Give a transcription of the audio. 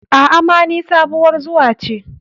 A,ama ni sabuwar zuwa ce.